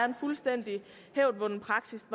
en fuldstændig hævdvunden praksis